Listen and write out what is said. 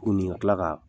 Ko nin ka tila ka